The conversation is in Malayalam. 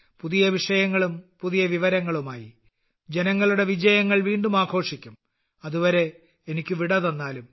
പുതിയ വിഷയങ്ങളും പുതിയ വിവരങ്ങളുമായി ജനങ്ങളുടെ വിജയങ്ങൾ വീണ്ടും ആഘോഷിക്കും അതുവരെ എനിക്ക് വിട തന്നാലും